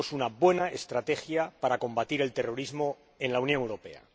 Tenemos una buena estrategia para combatir el terrorismo en la Unión Europea.